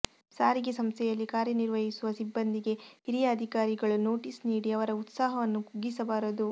ಸಾರಿಗೆ ಸಂಸ್ಥೆಯಲ್ಲಿ ಕಾರ್ಯ ನಿರ್ವಹಿಸುವ ಸಿಬ್ಬಂದಿಗೆ ಹಿರಿಯ ಅಧಿಕಾರಿಗಳು ನೋಟಿಸ್ ನೀಡಿ ಅವರ ಉತ್ಸಾಹವನ್ನು ಕುಗ್ಗಿಸಬಾರದು